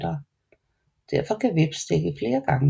Derfor kan samme hveps stikke flere gange